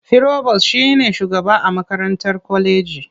Firobos shi ne shugaba a makarantar kwaleji.